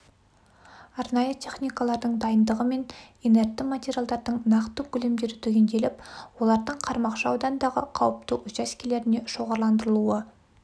арнайы техникалардың дайындығы мен инертті материалдардың нақты көлемдері түгенделіп олардың қармақшы ауданындағы қауіпті учаскелеріне шоғырландырылуы